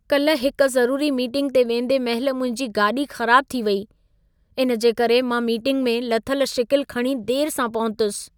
कल्ह हिक ज़रूरी मीटिंग ते वेंदे महिल मुंहिंजी गाॾी ख़राबु थी वेई। इन जे करे मां मीटिंग में लथल शिकिल खणी देर सां पहुतुसि।